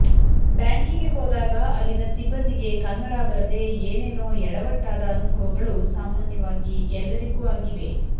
ಬ್ಯಾಂಕಿಗೆ ಹೋದಾಗ ಅಲ್ಲಿನ ಸಿಬ್ಬಂದಿಗೆ ಕನ್ನಡ ಬರದೇ ಏನೇನೋ ಎಡವಟ್ಟಾದ ಅನುಭವಗಳು ಸಾಮಾನ್ಯವಾಗಿ ಎಲ್ಲರಿಗೂ ಆಗಿವೆ